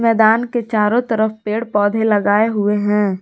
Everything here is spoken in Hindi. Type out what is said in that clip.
मैदान के चारों तरफ पेड़ पौधे लगाए हुए हैं।